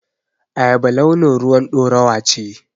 Ayaba launin ruwan ɗorawa ce.